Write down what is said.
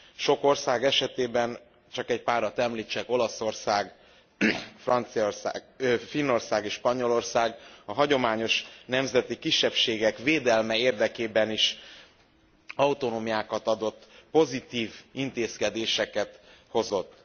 Sok ország csak egy párat említsek Olaszország, Franciaország, Finnország és Spanyolország, a hagyományos nemzeti kisebbségek védelme érdekében is autonómiákat adott, pozitív intézkedéseket hozott.